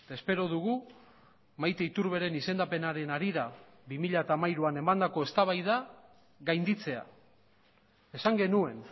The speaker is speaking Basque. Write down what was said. espero dugu maite iturberen izendapenaren harira bi mila hamairuan emandako eztabaida gainditzea esan genuen